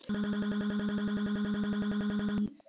Veitti það enga lausn?